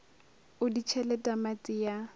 o di tšhele tamati ya